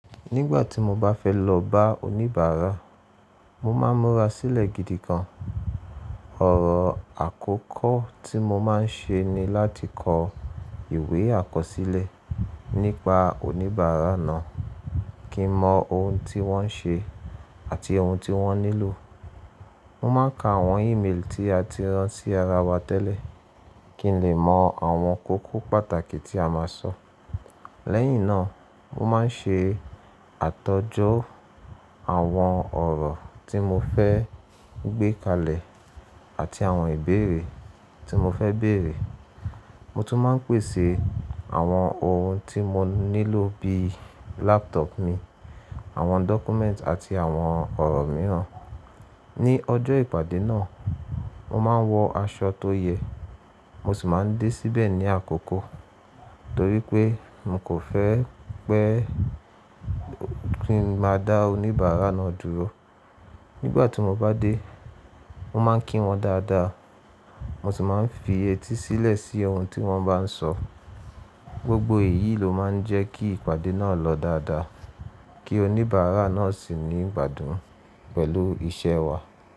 Nígbà tí mo bá fẹ́ lọ bá oníbàárà, mo máa ń múra sílẹ̀ gidi gan. Ọ̀rọ̀ àkọ́kọ́ tí mo máa ń ṣe ni láti kọ ìwé àkọsílẹ̀ nípa oníbàárà náà, kí n mọ ohun tí wọ́n ń ṣe àti ohun tí wọ́n nílò. Mo máa ń ka àwọn email tí a ti rán sí ara wa tẹ́lẹ̀ kí n lè mọ àwọn kókó pàtàkì tí a máa sọ. Lẹ́yìn náà, mo máa ń ṣe àtọjọ àwọn ọ̀rọ̀ tí mo fẹ́ gbé kalẹ̀ àti àwọn ìbéèrè tí mo fẹ́ béèrè. Mo tún máa ń pèsè àwọn ohun tí mo nílò bíi laptop mi, àwọn document àti àwọn ọ̀rọ̀ mìíràn. Ni ọjọ́ ìpàdé náà, mo máa ń wọ aṣọ tó yẹ. Mo sì máa ń dé síbẹ̀ ní àkókó torí pé mo kò fẹ́ pé kí n máa dá oníbàárà náà dúró. Nígbà tí mo bá dé, mo máa ń kí wọn dáadáa. Mo sì máa ń fi etí sílẹ̀ sí ohun tí wọ́n bá ń sọ. Gbogbo èyí ló máa ń jẹ́ kí ìpàdé náà lọ dáadáa kí oníbàárà náà sì ní ìgbádùn pẹ̀lú iṣẹ́ wa.